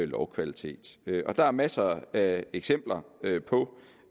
lovkvalitet der er masser af eksempler på